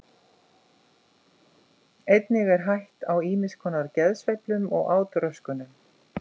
Einnig er hætt á ýmis konar geðsveiflum og átröskunum.